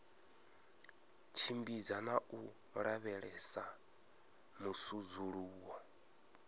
tshimbidza na u lavhelesa musudzuluwo